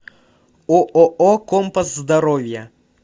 ооо компас здоровья